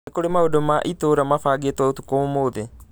Nĩ kũrĩ maũndũ ma itũũra mabangĩtwo ũtukũ ũmũthi